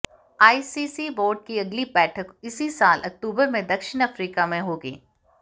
ICC board की अगली बैठक इसी साल अक्टूबर में दक्षिण अफ्रीका में होगी